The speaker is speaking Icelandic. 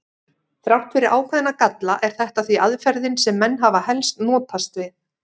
Þrátt fyrir ákveðna galla er þetta því aðferðin sem menn hafa helst notast við.